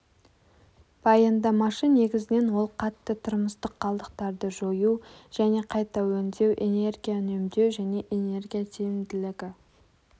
баяндамашы негізінен ол қатты тұрмыстық қалдықтарды жою және қайта өңдеу энергия үнемдеу және энергия тиімділігі